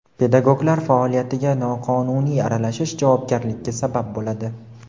Pedagoglar faoliyatiga noqonuniy aralashish javobgarlikka sabab bo‘ladi.